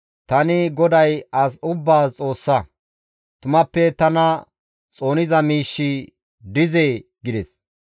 «Tani GODAY as ubbaas Xoossa; tumappe tana xooniza miishshi dizee?» gides.